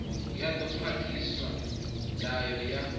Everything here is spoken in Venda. ya ḓo khwaṱhisa ndango ya